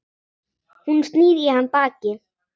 Hún snýr í hann baki.